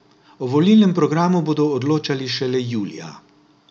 O volilnem programu bodo odločali šele julija.